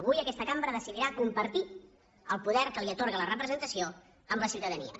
avui aquesta cambra decidirà compartir el poder que li atorga la representació amb la ciutadania